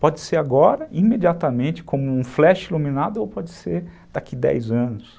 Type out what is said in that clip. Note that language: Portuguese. Pode ser agora, imediatamente, como um flash iluminado ou pode ser daqui a dez anos.